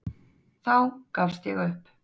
Þá gafst ég upp.